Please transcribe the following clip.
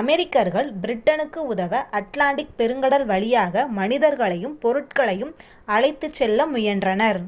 அமெரிக்கர்கள் பிரிட்டனுக்கு உதவ அட்லாண்டிக் பெருங்கடல் வழியாக மனிதர்களையும் பொருட்களையும் அழைத்துச் செல்ல முயன்றனர்